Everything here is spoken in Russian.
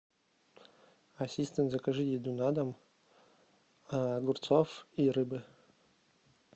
ассистент закажи еду на дом огурцов и рыбы